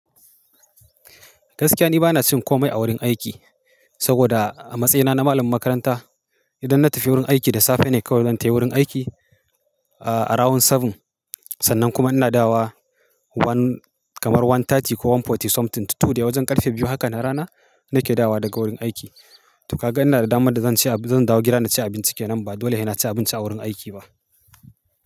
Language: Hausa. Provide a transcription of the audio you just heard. Gaskiya ni bana cin komai a wurin aiki saboda a matsayina na malamin makaranta, idan na tafi wurin aiki da safe ne kawai zan tai wurin aiki a rawan 7. Sannan kuma ina dawowa kamar 1:30 ko 1:40 something to 2 de wajen ƙarfe biyu haka na rana nake dawowa daga wurin aiki. To ka ga ina da damar da zan ci abi zan dawo gida na ci abinci kenan ba dole hena ci abinci a wurin aiki ba.